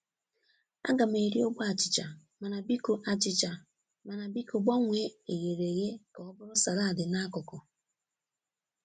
A ga m eri ogbe achịcha, mana biko achịcha, mana biko gbanwee eghere eghe kà ọ bụrụ salaadi n'akụkụ.